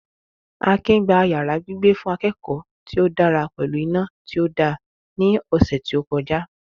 Akin gba yàrá gbígbé fún akẹ́kọ̀ọ́ tí ó dára pẹ̀lú iná tí ó da ní ọ̀sẹ̀ tí ó kọjá